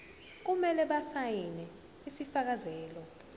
kumele basayine isifakazelo